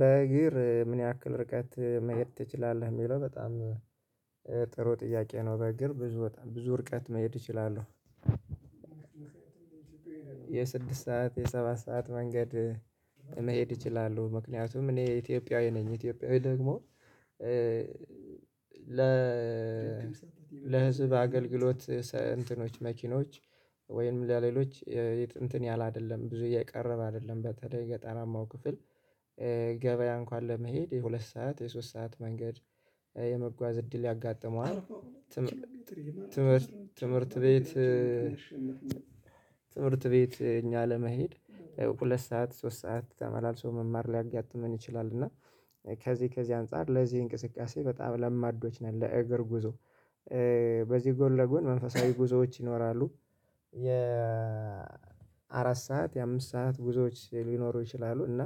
በእግር ምን ያክል ርቀት መሄድ ትችላለህ የሚለው በጣም ጥሩ ጥያቄ ነው በእግር ብዙ ብዙ ርቀት መሄድ እችላለሁ። የስድስት ሰዓት የሰባት ሰዓት መንገድ መሄድ እችላለሁ ምክንያቱም እኔ ኢትዮጵያዊ ነኝ ኢትዮጵያዊ ደግሞ ለ ለህዝብ አገልግሎት እንትኖች መኪኖች ወይም ለሌሎች የጥንትን ያህል አይደለም ብዙ የቀረበ አይደለም በተለይ ገጠራማው ክፍል ገበያ እንኳን ለመሄድ የሁለት ሰዓት የሶስት ሰዓት መንገድ የመጓዝ እድል ያጋጥመዋል። ትምህርት ትምህርት ቤት ትምህርት ቤት እኛ ለመሄድ ሁለት ሰዓት ሶስት ሰዓት ተመላልሶ መማር ሊያጋጥመን ይችላል። እና ከዚህ ከዚህ አንፃር ለዚህ እንቅስቃሴ በጣም ለማዶች ነን ለእግር ጉዞ በዚህ ጎን ለጎን መንፈሳዊ ጉዞዎች ይኖራሉ። የ አራት ሰዓት የአምስት ሰዓት ጉዞዎች ሊኖሩ ይችላሉ እና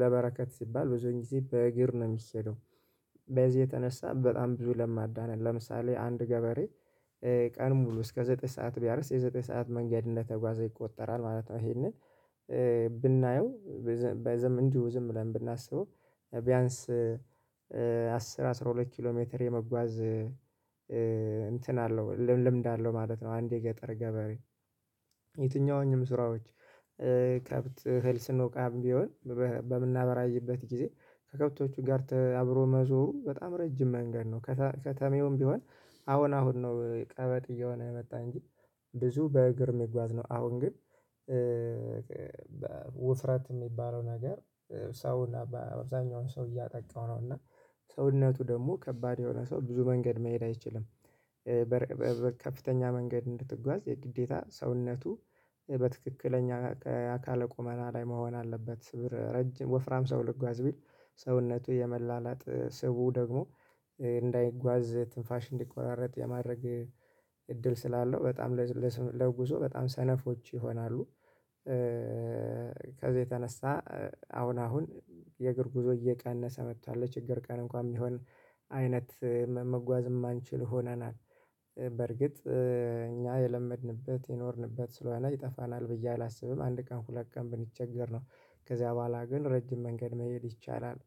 ለበረከት ሲባል ብዙ ጊዜ በእግር ነው የሚኬደው። በዚህ የተነሳ በጣም ብዙ ለማዳን ነን ለምሳሌ አንድ ገበሬ ቀን ሙሉ እስከ ዘጠኝ ሰዓት ቢያርስ የዘጠኝ ሰዓት መንገድ እንደተጓዘ ይቆጠራል ማለት ነው። ይሄንን ብናየው በዘም እንዲሁ ዝም ብለን ብናስበው ቢያንስ አስር አስራ ሁለት ኪሎ ሜትር የመጓዝ እንትን አለው ልምድ አለው ማለት ነው። አንዴ የገጠር ገበሬ የትኛውንም ስራዎች ከብት እህል ስንወቃ የእንውቃም ቢሆን በምናበራይበት ጊዜ ከከብቶቹ ጋር አብሮ መዞሩ በጣም ረጅም መንገድ ነው። ከከተሜውም ቢሆን አሁን አሁን ነው ቀባድ እየሆነ የመጣኝ እንጂ ብዙ በእግር መጎዝ ነው። አሁን ግን ውፍረት የሚባለው ነገር ሰው እና በብዛኛው ሰው እያጠቃው ነው እና ሰውነቱ ደግሞ ከባድ የሆነ ሰው ብዙ መንገድ መሄድ አይችልም። በከፍተኛ መንገድ እንድትጓዝ የግዴታ ሰውነቱ በትክክለኛ ከአካለ ቆመና ላይ መሆን አለበት ረጅም ወፍራም ሰው ልጓዝ ቢል ሰውነቱ የመላላት ስቡ ደግሞ እንዳይጓዝ ትንፋሽ እንዲቆራረጥ የማድረግ እድል ስላለው በጣም ለጉዞ በጣም ሰነፎች ይሆናሉ። ከዛ የተነሳ አሁን አሁን የእግር ጉዞ እየቀነሰ መጥቷል። ለችግር ቀን እንኳን ቢሆን አይነት መጓዝ የማንችል ሆነናል። በርግጥ እኛ የለመድንበት የኖርንበት ስለሆነ ይጠፋናል ብዬ አላስብም አንድ ቀን ሁለት ቀን ብንቸገር ነው ከዚያ በኋላ ግን ረጅም መንገድ መሄድ ይቻላል።